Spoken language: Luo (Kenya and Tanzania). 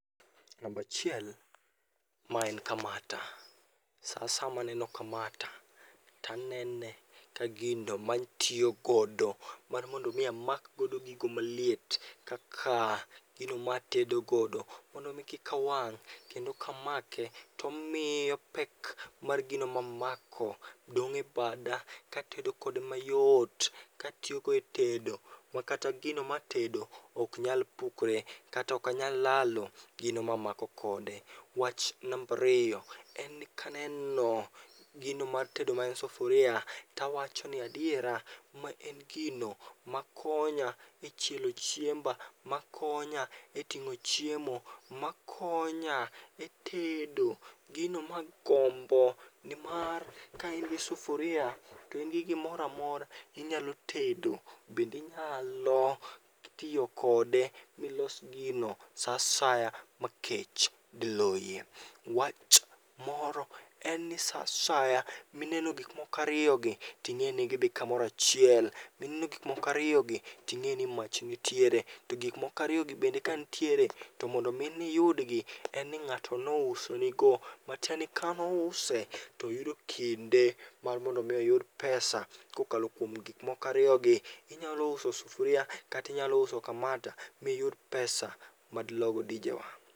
Nambachiel ma en kamata. Sa asaya maneno kamata tanene ka gino matiyo godo mar mondo mi amakgodo gigo maliet kaka gino matedogodo. Mondo mi kikawang', kendo kamake tomiyo pek mar gino mamako dong' e bada katedo kode mayot. Katiyogo e tedo, ma kata gino matedo ok nyal pukore kata okanyal lalo gino mamako kode. Wach nambariyo, en ni kaneno gino mar tedo maen sufuria, tawacho ni adiera. Ma en gino makonya e chielo chiemba, ma konya e ting'o chiemo, ma konya e tedo. Gino ma gombo nimar kain gi sufuria to in gi gimoramora, inyalo tedo. Bendinyalo tiyo kode milos gino sa asaya ma kech diloyie. Wach moro en ni sa asaya mineno gik mokariyogi, ting'eni gidhi kamorachiel, mineno gikmokariyogi ting'eni mach nitiere. To gik mokariyogi bende ka nitiere to mondo mi niyudgi, en ni ng'ato nouso nigo. Matieni kanouse toyudo kinde mar mondo mi oyud pesa kokalo kuom gik mokariyogi. Inyalo uso sufria katinyalo uso kamata miyud pesa madilogo dijewa.